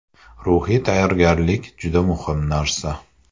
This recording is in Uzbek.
Ruhiy tayyorgarlik juda muhim narsa.